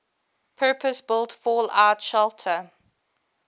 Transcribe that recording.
purpose built fallout shelter